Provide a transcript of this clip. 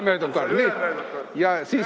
Möödunud aastal ei olnud nii.